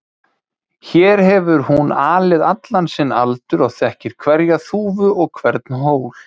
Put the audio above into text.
Hér hefur hún alið allan sinn aldur og þekkir hverja þúfu og hvern hól.